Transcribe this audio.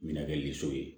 Mɛna kɛ liso ye